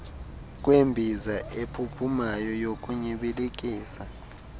kwembiza ephuphumayo yokunyibilikisa